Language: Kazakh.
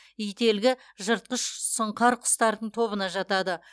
ителгі жыртқыш сұңқар құстардың тобына жатады